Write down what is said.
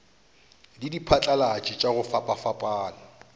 le diphatlalatši tša go fapafapana